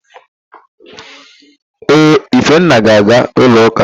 Ee, Ifenna ga-aga n'ụlọụ́kà.